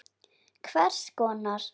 Hvers konar.